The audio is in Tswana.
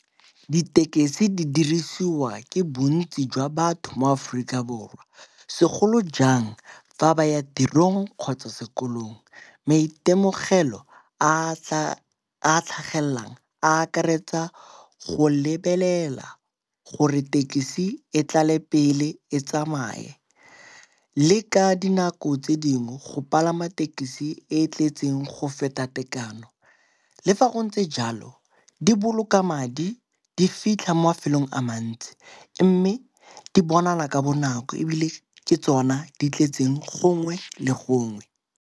Ditekesi di dirisiwa ke bontsi jwa batho mo Aforika Borwa segolo jang fa ba ya tirong kgotsa sekolong. Maitemogelo a a tlhagelelang a akaretsa go lebelela gore tekesi e tlale pele e tsamaye le ka dinako tse dingwe go palama tekesi e e tletseng go feta tekano. Le fa go ntse tse jalo di boloka madi, di fitlha mo mafelong a mantsi mme di bonala ka bonako ebile ke tsona di tletseng gongwe le gongwe.